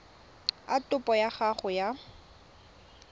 a topo ya gago ya